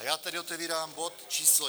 A já tedy otevírám bod číslo